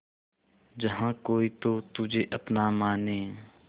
जहा कोई तो तुझे अपना माने